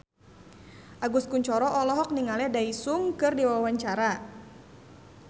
Agus Kuncoro olohok ningali Daesung keur diwawancara